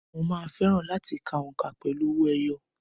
Mo máa fẹ́ràn láti ka òǹkà pẹ̀lú owó ẹyọ.